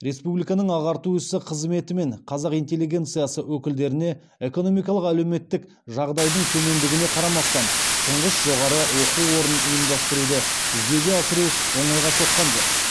республиканың ағарту ісі қызметі мен қазақ интеллигенциясы өкілдеріне экономикалық әлеуметтік жағдайдың төмендігіне қарамастан тұңғыш жоғарғы оқу орнын ұйымдастыруды жүзеге асыру оңайға соққан жоқ